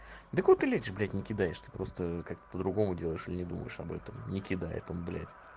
да кого ты лечишь блять не кидаешь ты просто как-то по-другому делаешь или не думаешь об этом не кидает он блять